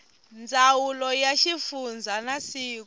ndzawulo ya xivundza na siku